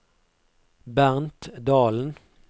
Bernt Dahlen